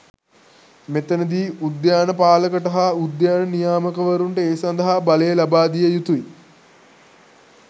මෙතනදී උද්‍යාන පාලකට හා උද්‍යාන නියාමකවරුන්ට ඒ සඳහා බලය ලබාදිය යුතුයි.